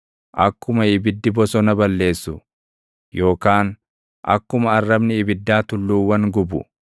Akkuma ibiddi bosona balleessu, yookaan akkuma arrabni ibiddaa tulluuwwan gubu,